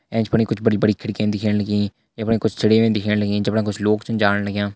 ऐंच फणि कुछ बड़ी बड़ी खिड़की दिखेण लगीं यफणा कुछ चिड़ियां दिखेण लगीं जफणा कुछ लोग छन जाण लग्यां।